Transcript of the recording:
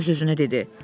Öz-özünə dedi: